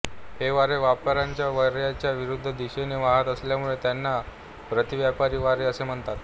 हे वारे व्यापारी वार्याच्या विरुध्द दिशेने वाहत असल्यामुळे त्यांना प्रतीव्यापारी वारे असे म्हणतात